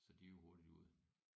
Så de er jo hurtigt ude